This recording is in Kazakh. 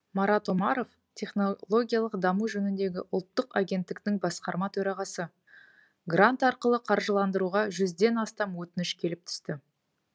марат омаров технологиялық даму жөніндегі ұлттық агенттіктің басқарма төрағасы грант арқылы қаржыландыруға жүзден астам өтініш келіп түсті